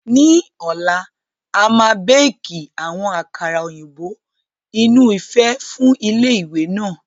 Ní ọ̀la, a máa béékì àwọn àkàrà òyìnbó inú ife fún ilé ìwé náà